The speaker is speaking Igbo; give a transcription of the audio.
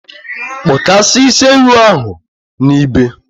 kpụkasịa isi ewu ahụ n’ibe!